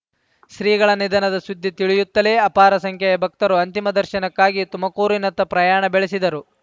ಶ್ರೀಗಳ ನಿಧನದ ಸುದ್ದಿ ತಿಳಿಯುತ್ತಲೇ ಅಪಾರ ಸಂಖ್ಯೆಯ ಭಕ್ತರು ಅಂತಿಮ ದರ್ಶನಕ್ಕಾಗಿ ತುಮಕೂರಿನತ್ತ ಪ್ರಯಾಣ ಬೆಳೆಸಿದರು